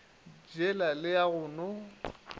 jela le ya go no